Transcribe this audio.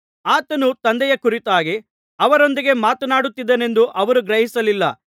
ಆತನು ತಂದೆಯ ಕುರಿತಾಗಿ ಅವರೊಂದಿಗೆ ಮಾತನಾಡಿದನೆಂದು ಅವರು ಗ್ರಹಿಸಲಿಲ್ಲ